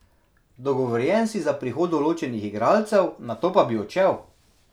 Dogovorjen si za prihod določenih igralcev, nato pa bi odšel?